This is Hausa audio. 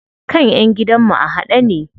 Kan ƴan gidan mu a haɗe ne.